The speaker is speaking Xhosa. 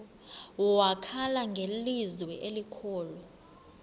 wakhala ngelizwi elikhulu